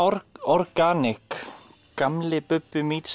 organic gamli Bubbi